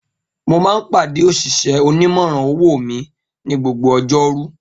Mo máa ń pàdé òṣìṣẹ́ onímòràn owó mi ni gbogbo ọjọ́rú